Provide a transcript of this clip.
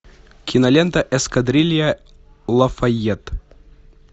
кинолента эскадрилья лафайет